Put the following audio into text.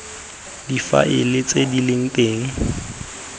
difaele tse di leng teng